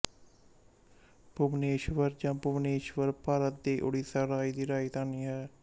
ਭੁਬਨੇਸ਼ਵਰ ਜਾਂ ਭੁਵਨੇਸ਼ਵਰ ਭਾਰਤ ਦੇ ਉੜੀਸਾ ਰਾਜ ਦੀ ਰਾਜਧਾਨੀ ਹੈ